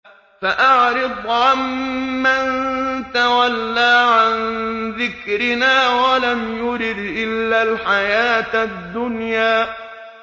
فَأَعْرِضْ عَن مَّن تَوَلَّىٰ عَن ذِكْرِنَا وَلَمْ يُرِدْ إِلَّا الْحَيَاةَ الدُّنْيَا